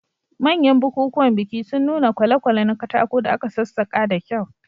Manyan bukukuwan biki sun nuna kwale-kwale na katako da aka sassaka da kyau.